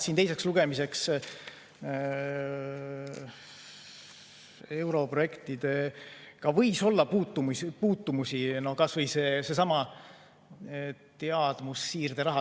Siin teiseks lugemiseks võis olla europrojektidega puutumusi, kasvõi seesama teadmussiirderaha.